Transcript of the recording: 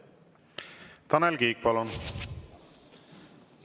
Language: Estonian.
Tanel Kiik, palun!